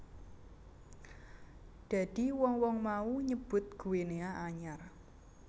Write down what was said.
Dadi wong wong mau nyebut Guinea anyar